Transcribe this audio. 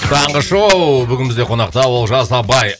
таңғы шоу бүгін бізде қонақта олжас абай